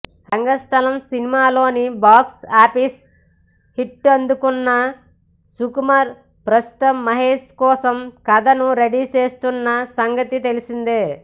రంగస్థలం సినిమాతో box office హిట్టందుకున్న సుకుమార్ ప్రస్తుతం మహేష్ కోసం కథను రెడీ చేస్తున్న సంగతి తెలిసిందే